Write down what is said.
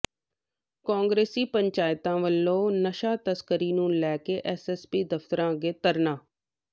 ਕਾਂਗਰਸੀ ਪੰਚਾਇਤਾਂ ਵਲੋਂ ਨਸ਼ਾ ਤਸਕਰੀ ਨੂੰ ਲੈ ਕੇ ਐੱਸਐੱਸਪੀ ਦਫ਼ਤਰ ਅੱਗੇ ਧਰਨਾ